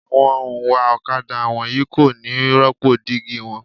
Àwọn òǹwà ọ̀kadà wọ̀nyí kò ní rópò dígí wọn.